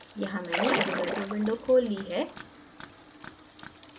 यहाँ मैंने avogadro window खोल ली है